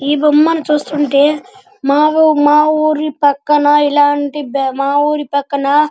ఈ బొమ్మని చూస్తుంటే మా ఊరి పక్కన ఇలాంటి మా ఊరి పక్కన --